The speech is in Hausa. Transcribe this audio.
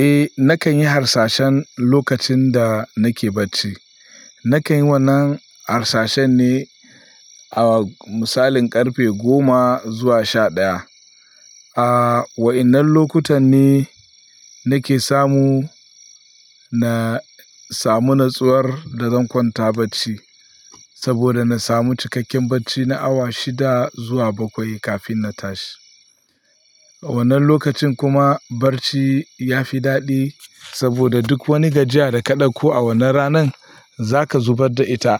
Eh nakan yi harsashen lokacin da nake bacci. Nakan yi wannan harsashen ne a misalin ƙarfe goma zuwa sha ɗaya. A wa'yannan lokutan ne nake samu, na samu natsuwar da zan kwanta bacci saboda na samu cikakken bacci na awa shida zuwa bakwai kafin na tashi. A wannan lokacin kuma barci ya fi daɗi saboda duk wani gajiya da ka ɗauko a wannan ranan za ka zubar da ita.